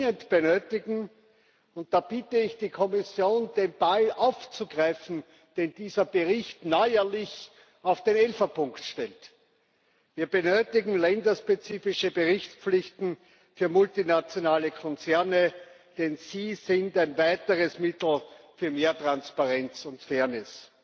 Was wir dringend benötigen und da bitte ich die Kommission, den Ball aufzugreifen, den dieser Bericht neuerlich auf den Elferpunkt stellt Wir benötigen länderspezifische Berichtspflichten für multinationale Konzerne, denn sie sind ein weiteres Mittel für mehr Transparenz und Fairness.